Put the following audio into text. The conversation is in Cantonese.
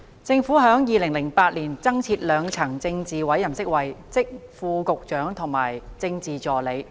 政府在2008年增設兩層政治委任職位，即副局長及政治助理。